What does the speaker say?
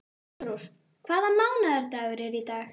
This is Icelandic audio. Ástrós, hvaða mánaðardagur er í dag?